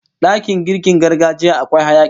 Dakin girkin gargajiya akwai hayaki